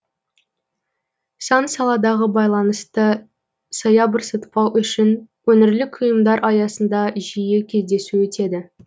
сан саладағы байланысты саябырсытпау үшін өңірлік ұйымдар аясында жиі кездесу өтеді